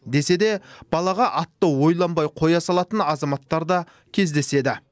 десе де балаға атты ойланбай қоя салатын азаматтар да кездеседі